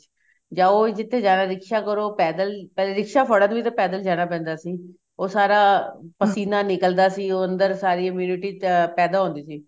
ਜਾਉ ਜਿੱਥੇ ਜਾਣਾ ਰਿਕਸ਼ਾ ਕਰੋ ਪੈਦਲ ਪਹਿਲੇ ਰਿਕਸ਼ਾ ਫੜਣ ਵੀ ਤੇ ਪੈਦਲ ਜਾਣਾ ਪੈਂਦਾ ਸੀ ਉਹ ਸਾਰਾ ਪਸੀਨਾ ਨਿਕਲਦਾ ਸੀ ਉਹ ਅੰਦਰ ਸਾਰੀ immunity ਪੈਦਾ ਹੁੰਦਾ ਸੀ